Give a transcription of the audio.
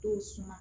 Dɔw suma